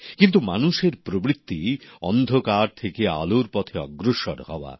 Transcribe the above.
কিন্তু মানুষের প্রবৃত্তি অন্ধকার থেকে আলোর পথে অগ্রসর হওয়া